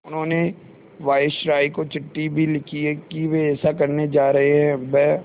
उन्होंने वायसरॉय को चिट्ठी भी लिखी है कि वे ऐसा करने जा रहे हैं ब्